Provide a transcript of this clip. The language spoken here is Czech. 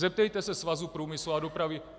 Zeptejte se Svazu průmyslu a dopravy.